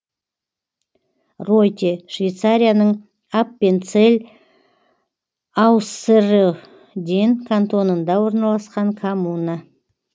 ройте швейцарияның аппенцелль ауссерроден кантонында орналасқан коммуна